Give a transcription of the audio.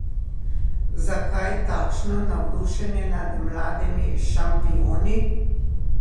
Zakaj takšno navdušenje nad mladimi šampioni?